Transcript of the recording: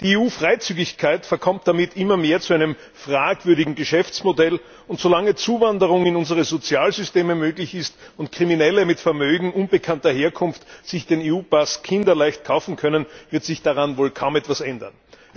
Die EU Freizügigkeit verkommt damit immer mehr zu einem fragwürdigen Geschäftsmodell, und solange Zuwanderung in unsere Sozialsysteme möglich ist und Kriminelle mit Vermögen unbekannter Herkunft sich den EU Pass kinderleicht kaufen können, wird sich daran wohl kaum etwas ändern.